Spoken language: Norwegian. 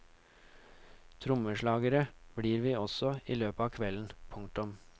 Trommeslagere blir vi også i løpet av kvelden. punktum